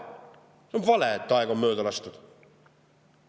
See on vale, et aeg on mööda lastud.